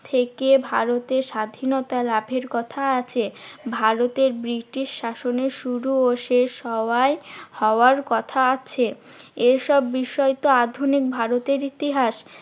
থেকে ভারতের স্বাধীনতা লাভের কথা আছে। ভারতের ব্রিটিশ শ্বাসনের শুরু ও শেষ হওয়ায় হওয়ার কথা আছে। এসব বিষয় তো আধুনিক ভারতের ইতিহাস।